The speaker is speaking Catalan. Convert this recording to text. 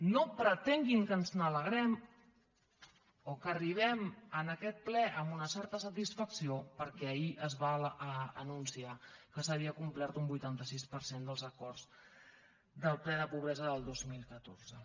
no pretenguin que ens n’alegrem o que arribem a aquest ple amb una certa satisfacció perquè ahir es va anunciar que s’havia complert un vuitanta sis per cent dels acords del ple de pobresa del dos mil catorze